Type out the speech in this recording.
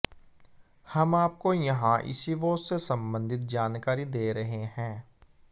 हम आपको यहां इसी वॉच से संबंधित जानकारी दे रहे हैं